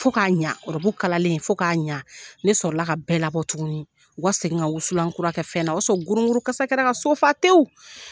Fɔ k'a ɲɛ rɔbu kalalen fƆ k'a ɲɛ ne sɔrɔla ka bɛɛ labɔ tuguni u ka segin ka wusulankura kƐ fɛn na o y'a sɔrɔ gorogorokasa kƐla ka so fa tewu